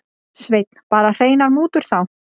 Sveinn: Bara hreinar mútur þá?